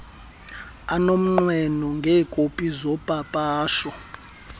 anomnqweno ngeekopi zopapasho